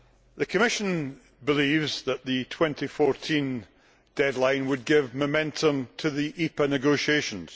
The Commission believes that the 2014 deadline would give momentum to the EPA negotiations.